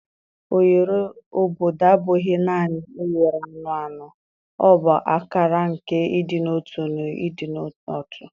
Oghere obodo abụghị naanị oghere anụ ahụ, ọ bụ akara nke ịdị n'otu na ịdị n'otu.